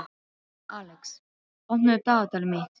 Alex, opnaðu dagatalið mitt.